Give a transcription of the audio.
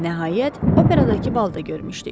Nəhayət, operadakı balda görmüşdük.